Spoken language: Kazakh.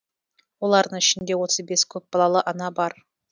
олардың ішінде отыз бес көпбалалы ана бар